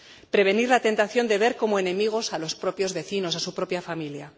prevenir la tentación de ver como enemigos a los propios vecinos, a su propia familia.